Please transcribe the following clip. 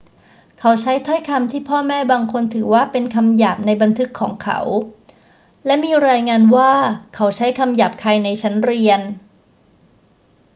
เขาใช้ถ้อยคำที่พ่อแม่บางคนถือว่าเป็นคำหยาบในบันทึกของเขา และมีรายงานว่าเขาใช้คำหยาบคายในชั้นเรียน